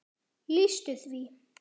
lýstu því?